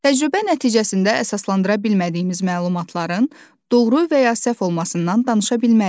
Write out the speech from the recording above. Təcrübə nəticəsində əsaslandıra bilmədiyimiz məlumatların doğru və ya səhv olmasından danışa bilmərik.